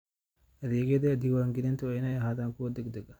Adeegyada diiwaangelinta waa inay ahaadaan kuwo degdeg ah.